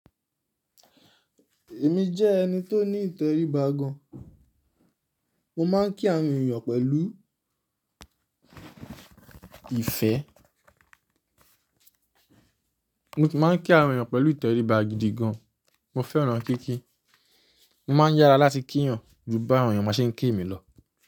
Èmi jẹ́ ẹni tó ní ìtẹríba gan. Mó máa ń kí àwọn èèyàn pẹ̀lú ìfẹ́. Mó kí máa ń kí àwọn èèyàn pẹ̀lú ìtẹríba gidi gàn. Mo fẹ́ràn kíkí. Mó máa ń yára láti kí èèyàn jú bá àwọn èèyàn má ṣe ń kí èmi lọ.